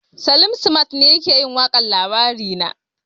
Salim simat ne yake yin waƙar labarina